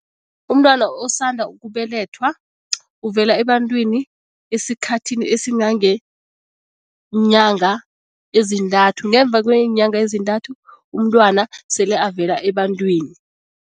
Umntwana osanda ukubelethwa uvela ebantwini esikhathini esingangeenyanga ezintathu, ngemva kweenyanga ezintathu umntwana sele avela ebantwini.